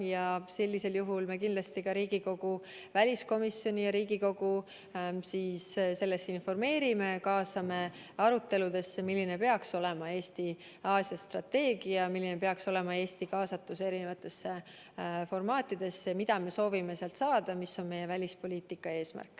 Me kindlasti informeerime sellest ka Riigikogu väliskomisjoni ja Riigikogu, kaasame teid aruteludesse selle üle, milline peaks olema Eesti Aasia-strateegia, milline peaks olema Eesti kaasatus eri formaatides kohtumistel, mida me soovime sealt saada ja mis on meie välispoliitika eesmärk.